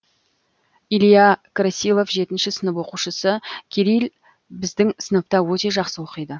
илья красилов жетінші сынып оқушысы кирилл біздің сыныпта өте жақсы оқиды